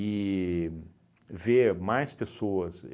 e ver mais pessoas.